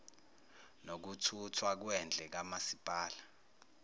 nokuthuthwa kwendle kamasipala